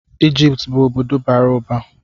Ijipt bụ obodo bara ụba.